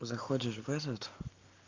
заходишь в этот